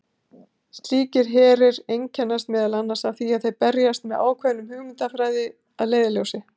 Slíkir herir einkennast meðal annars af því að þeir berjast með ákveðna hugmyndafræði að leiðarljósi.